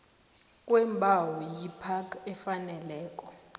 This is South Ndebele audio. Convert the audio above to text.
kweembawo yipac efaneleko